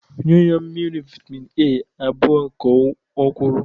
Nye ya mmiri vitamin A abụọ ka o kwuru.